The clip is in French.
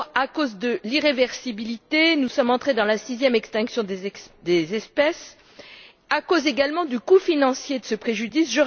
D'abord, à cause de l'irréversibilité nous sommes rentrés dans la sixième extinction des espèces et à cause également du coût financier de ce préjudice.